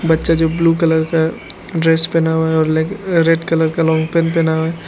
बच्चा जो blue colour का ड्रेस पहना हुआ है और ले रेड कलर का लॉन्ग पैंट पहना --